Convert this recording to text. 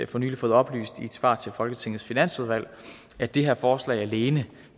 for nylig fået oplyst i et svar til folketingets finansudvalg at det her forslag alene